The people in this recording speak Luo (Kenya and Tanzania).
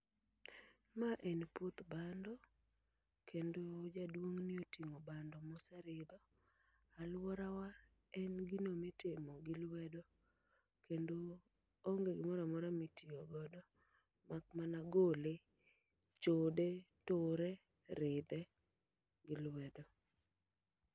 Ma en puoth bando, kendo jaduong'ni oting'o bando mose ridho. Alworawa en gino mitimo gi lwedo, kendo onge gimora mora mitiyogodo. Mak mana gole, chode, ture, ridhe gi lwedo.